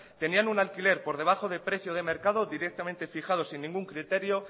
tenían un alquiler por debajo del precio del mercado directamente fijado sin ningún criterio